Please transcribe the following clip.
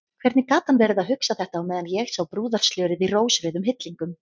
Hvernig gat hann verið að hugsa þetta á meðan ég sá brúðarslörið í rósrauðum hillingum!